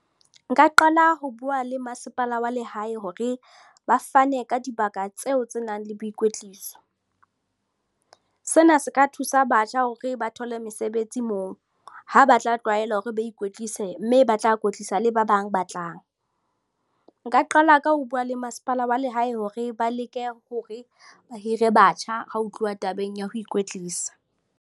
Nka qala ho bua le mmasepala wa lehae hore ba fane ka dibaka tseo tse nang le boikwetliso. Sena se ka thusa batjha hore ba thole mesebetsi moo ha ba tla tlwaela hore ba ikwetlise mme ba tla kwetlisa le ba bang ba tlang. Nka qala ka ho bua le mmasepala wa lehae hore ba leke hore ba hire batjha ha ho tluwa tabeng ya ho ikwetlisa.